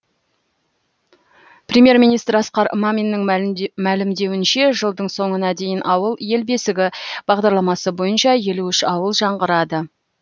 премьер министр асқар маминнің мәлімдеуінше жылдың соңына дейін ауыл ел бесігі бағдарламасы бойынша елу үш ауыл жаңғырады